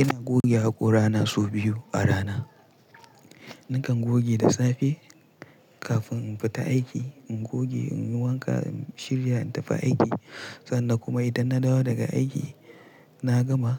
Ina goge haƙora na sau biyu a rana. Nakan goge da safe kafin in fita aiki, in goge in yi wanka, in shirya in tafi aiki. Sannan kuma idan na dawo daga aiki, na gama